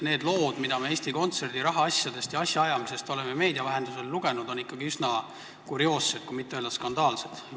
Need lood, mida me Eesti Kontserdi rahaasjadest ja asjaajamisest oleme meedia vahendusel lugenud, on ikkagi üsna kurioossed, kui mitte öelda, et skandaalsed.